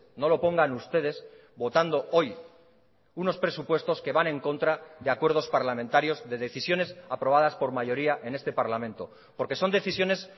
no lo pongan ustedes votando hoy unos presupuestos que van en contra de acuerdos parlamentarios de decisiones aprobadas por mayoría en este parlamento porque son decisiones